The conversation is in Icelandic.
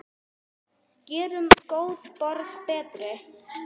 Gerum góða borg betri.